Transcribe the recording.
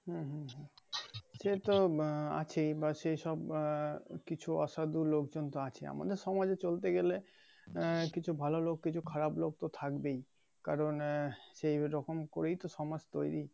হুম হুম হুম সে তো বা আছেই বা সেসব বাহ কিছু অসাধু লোকজন তো আছেই আমাদের সমাজে চলতে গেলে আহ কিছু ভালো লোক কিছু খারাপ লোক তো থাকবেই কারন এহ সেরকম করেই তো সমাজ তৈরি।